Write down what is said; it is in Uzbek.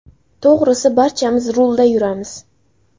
To‘g‘risi, barchamiz rulda yuramiz.